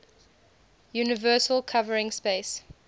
universal covering space